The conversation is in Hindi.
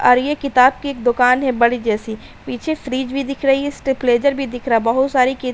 और यह किताब की एक दुकान है बड़ी जैसी पीछे फ्रिज भी दिख रही है। स्टॅब्लिज़ेर भी दिख रहा है। बहोत सारी कि --